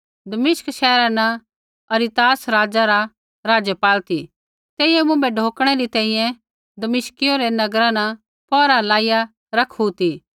दमिश्क शैहर न अरितास राजा रा राज़पाल ती तेइयै मुँभै ढौकणै री तैंईंयैं दमिश्कियो रै नगरा न पौहरा लाईया रखीरा ती